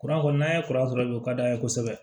Kuran kɔni n'an ye kuran sɔrɔ o ka d'an ye kosɛbɛ